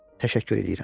Təşəkkür eləyirəm.